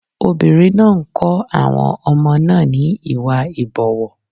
Obìnrin náà ń kọ́ àwọn ọmọ náà ní Ìwà ìbọ̀wọ̀.